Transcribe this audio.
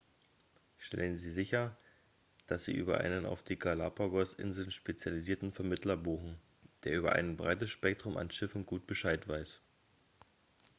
stellen sie sicher dass sie über einen auf die galapagos-inseln spezialisierten vermittler buchen der über ein breites spektrum an schiffen gut bescheid weiß